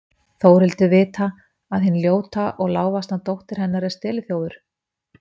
Þórhildur vita að hin ljóta og lágvaxna dóttir hennar er steliþjófur?